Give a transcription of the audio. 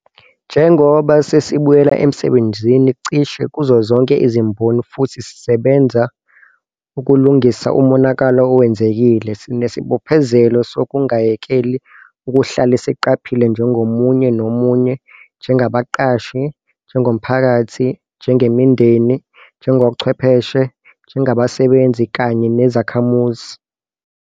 Njengoba sesibuyela emsebenzini cishe kuzozonke izimboni - futhi sisebenza ukulungisa umonakalo owenzekile - sinesibophezelo sokungayekeli ukuhlale siqaphile njengomunye nomunye, njengabaqashi, njengomphakathi, njengemindeni, njengochwepheshe, njengabasebenzi kanye nezakhamuzi.